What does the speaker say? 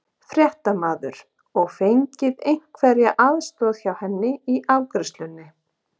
Fréttamaður: Og fengið einhverja aðstoð hjá henni í afgreiðslunni?